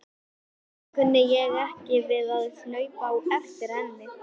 Samt kunni ég ekki við að hlaupa á eftir henni.